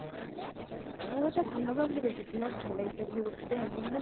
অ তাই ভাল লগা বুলি কৈছে। বিৰাত ভাল লাগিছে বুলি কৈছে দে। মই মানে